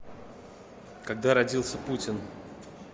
когда родился путин